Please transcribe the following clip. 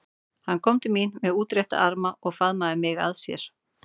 Hann kom til mín með útrétta arma og faðmaði mig að sér.